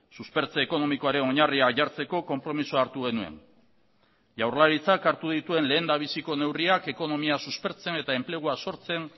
suspertze ekonomikoaren oinarria jartzeko konpromisoa hartu genuen jaurlaritzak hartu dituen lehendabiziko neurriak ekonomia suspertzen eta enplegua sortzen